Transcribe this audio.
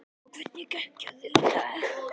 Og hvernig gekk hjá þér í dag?